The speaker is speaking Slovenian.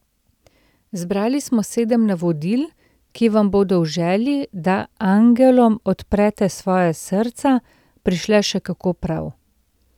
Zbrali smo sedem navodil, ki vam bodo v želji, da angelom odprete svoja srca, prišla še kako prav.